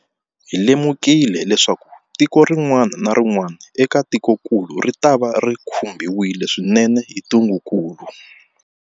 Hi lemukile leswaku tiko rin'wana na rin'wana eka tikokulu ritava ri khumbiwile swinene hi ntungukulu.